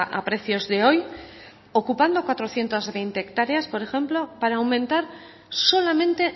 a precios de hoy ocupando cuatrocientos veinte hectáreas por ejemplo para aumentar solamente